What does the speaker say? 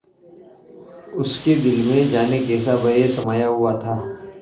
उसके दिल में जाने कैसा भय समाया हुआ था